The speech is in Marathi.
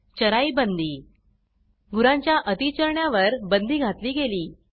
चराई बंदी गुरांच्या अती चरण्या वर बंदी घातली गेली